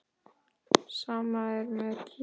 Sama er með kítti.